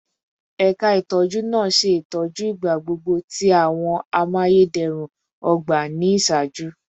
Ẹka itọju naa ṣe itọju igbagbogbo ti awọn amayederun ogba ni iṣaaju